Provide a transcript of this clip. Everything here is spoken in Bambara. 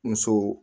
Muso